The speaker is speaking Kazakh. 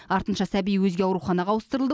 артынша сәби өзге ауруханаға ауыстырылды